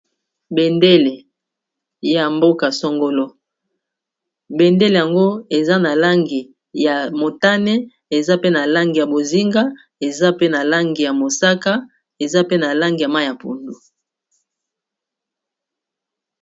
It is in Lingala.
Bendele ya mboka songolo bendele yango eza na langi ya motane eza pe na langi ya bozinga eza pe na langi ya mosaka eza pe na langi ya ma ya pondu.